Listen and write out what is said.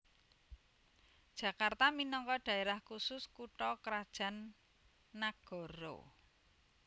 Jakarta minangka dhaérah khusus kutha krajan nagara